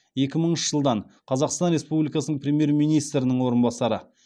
екі мыңыншы жылдан қазақстан республикасының премьер министрінің орынбасары